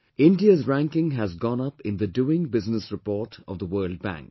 India's ranking has gone up in the Doing Business Report of the World Bank